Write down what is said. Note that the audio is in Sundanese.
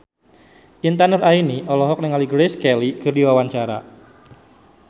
Intan Nuraini olohok ningali Grace Kelly keur diwawancara